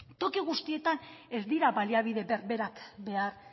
toki guztietan ez dira baliabide berberak behar